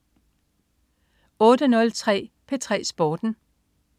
08.03 P3 Sporten